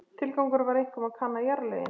Tilgangurinn var einkum að kanna jarðlögin.